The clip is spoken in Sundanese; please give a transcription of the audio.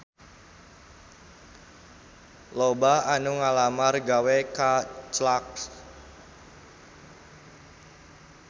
Loba anu ngalamar gawe ka Clarks